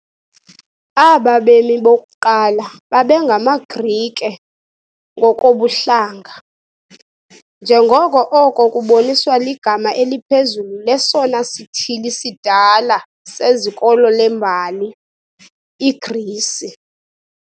Aba bemi bokuqala babengamaGrike ngokobuhlanga, njengoko oko kuboniswa ligama eliphezulu lesona sithili sidala sezikolo lembali, iGrisi.